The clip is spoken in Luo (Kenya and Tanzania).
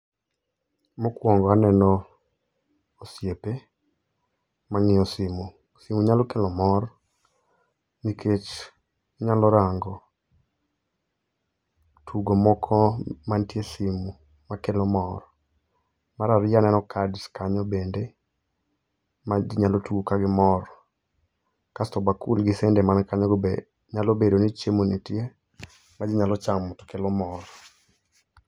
Mokwongo aneno osiepe mang'iyo simu. Simu nyalo kelo mor, nikech inyalo rango tugo moko mantie e simu makelo mor. Mar ariyo aneno kads kanyo bende ma ji nyalo tugo kagimor. Kasto bakul gi sende man kanyogo be nyalo bedo ni chiemo nitie ma ji nyalo chamo to kelo mor.